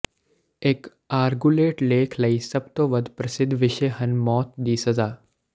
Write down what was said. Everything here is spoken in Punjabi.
ਇਕ ਆਰਗੂਲੇਟ ਲੇਖ ਲਈ ਸਭ ਤੋਂ ਵੱਧ ਪ੍ਰਸਿੱਧ ਵਿਸ਼ੇ ਹਨ ਮੌਤ ਦੀ ਸਜ਼ਾ